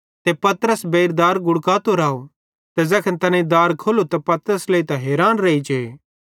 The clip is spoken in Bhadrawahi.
ते पतरस बेइर दार गुड़कातो राव ते ज़ैखन तैनेईं दार खोल्लू त पतरस लेइतां हैरान रेइजे